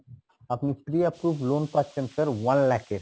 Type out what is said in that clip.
আপনি pre-approve loan পাচ্ছেন, sir one lakh এর